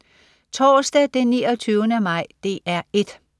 Torsdag den 29. maj - DR 1: